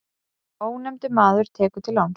Ónefndur maður tekur til láns.